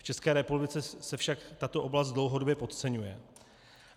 V České republice se však tato oblast dlouhodobě podceňuje.